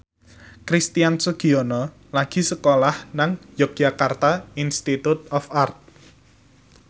Christian Sugiono lagi sekolah nang Yogyakarta Institute of Art